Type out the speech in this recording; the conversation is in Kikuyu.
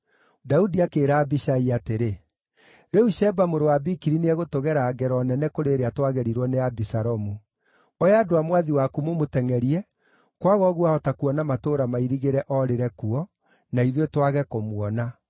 Daudi akĩĩra Abishai atĩrĩ, “Rĩu Sheba mũrũ wa Bikiri nĩegũtũgera ngero nene kũrĩ ĩrĩa twagerirwo nĩ Abisalomu. Oya andũ a mwathi waku mũmũtengʼerie, kwaga ũguo aahota kuona matũũra mairigĩre oorĩre kuo, na ithuĩ twage kũmuona.”